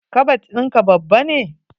Kabad in ka babba ne?